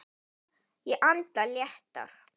Ég anda léttar.